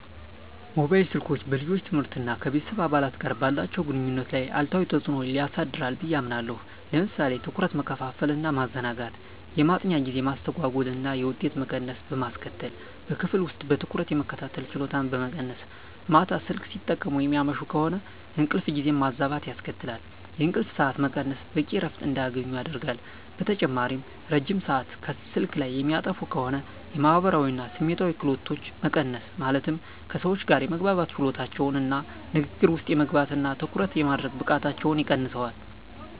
ሞባይል ስልኮች በልጆች ትምህርት እና ከቤተሰብ አባላት ጋር ባላቸው ግንኙነት ላይ አሉታዊ ተጽዕኖ ሊያሳድሩ ብየ አምናለሁ። ለምሳሌ ትኩረት መከፋፈል እና ማዘናጋት፣ የማጥኛ ጊዜ መስተጓጎል እና የውጤት መቀነስ በማስከትል፣ በክፍል ውስጥ በትኩረት የመከታተል ችሎታን በመቀነስ፣ ማታ ስልክ ሲጠቀሙ የሚያመሹ ከሆነ እንቅልፍ ጊዜን ማዛባት ያስከትላል፣ የእንቅልፍ ሰዓት መቀነስ በቂ እረፍት እንዳያገኙ ያደርጋል። በተጨማሪም ረጅም ሰአት ስልክ ላይ የሚያጠፉ ከሆነ የማህበራዊ እና ስሜታዊ ክህሎቶች መቀነስ ማለትም ከሰዎች ጋር የመግባባት ችሎታቸውን እና ንግግር ውስጥ የመግባት እና ትኩረት የማድረግ ብቃታቸውን ይቀንሰዋል።